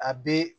A be